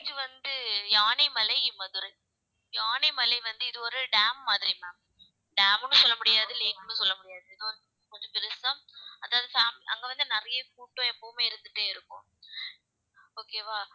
இது வந்து யானைமலை மதுரை, யானைமலை வந்து இது ஒரு dam மாதிரி ma'am dam ன்னு சொல்ல முடியாது lake ன்னும் சொல்ல முடியாது கொஞ்சம் பெருசுதான் அதாவது சாம்~ அங்க வந்து நிறைய கூட்டம் எப்பவுமே இருந்துட்டே இருக்கும் okay வா